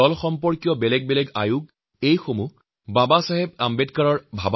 জলসংৰক্ষণ আৰু ব্যৱহাৰৰ বাবে নানান কাৰ্যকৰী সমিতিৰ কথা কল্পনা কৰিছিল